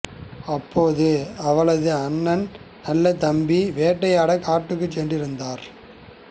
அப்போது அவளது அண்ணன் நல்லதம்பி வேட்டையாடக் காட்டுக்கு சென்று இருந்தார்